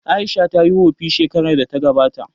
Aisha tayi wofi shekarar da ta gabata